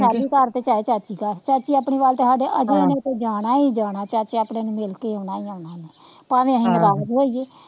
ਲਾਡੀ ਚਾਚੀ ਘਰ ਚਏ ਚਾਚੀ ਘਰ ਚਾਚੀ ਆਪਣੀ ਵੱਲ ਤਾਂ ਸਾਡੇ ਅਜੇ ਜਾਣਾ ਈ ਜਾਣਾ ਚਾਚੇ ਆਪਣੇ ਨੂੰ ਮਿਲ ਕੇ ਆਉਣਾ ਈ ਆਉਣਾ ਭਾਵੇ ਅਸੀਂ ਨਰਾਜ ਹੋਈਏ,